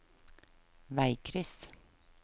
veikryss